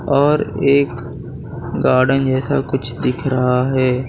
और एक गार्डन जैसा कुछ दिख रहा है।